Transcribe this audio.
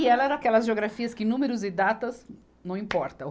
E ela era aquelas geografias que números e datas não importam.